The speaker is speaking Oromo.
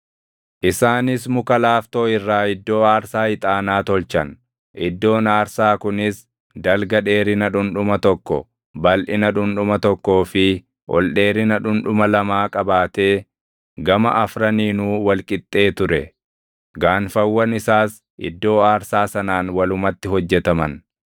Isaanis muka laaftoo irraa iddoo aarsaa ixaanaa tolchan; iddoon aarsaa kunis dalga dheerina dhundhuma tokko, balʼina dhundhuma tokkoo fi ol dheerina dhundhuma lamaa qabaatee gama afraniinuu wal qixxee ture. Gaanfawwan isaas iddoo aarsaa sanaan walumatti hojjetaman.